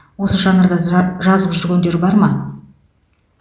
осы жанрда жа жазып жүргендер бар ма